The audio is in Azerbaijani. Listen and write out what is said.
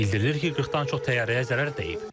Bildirilir ki, 40-dan çox təyyarəyə zərər dəyib.